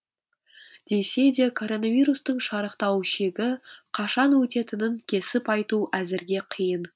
десе де коронавирустың шарықтау шегі қашан өтетінін кесіп айту әзірге қиын